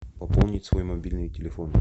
пополнить свой мобильный телефон